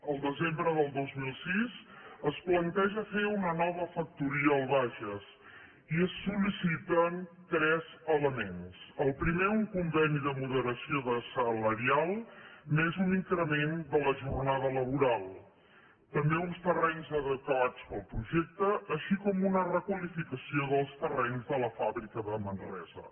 el desembre del dos mil sis es planteja fer una nova factoria al bages i es sol·liciten tres elements el primer un conveni de moderació salarial més un increment de la jornada laboral també uns terrenys adequats per al projecte així com una requalificació dels terrenys de la fàbrica de manresa